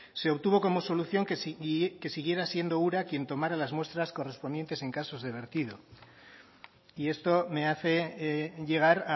se obtuvo como solución que siguiera siendo ura quien tomara las muestras correspondientes en casos de vertido y esto me hace llegar